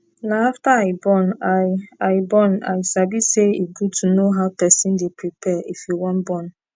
na after i born i i born i sabi say e good to know how person dey prepare if you wan born